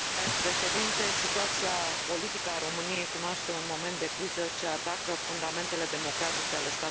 Situația politică a României cunoaște un moment de criză ce atacă fundamentele democratice ale statului de drept.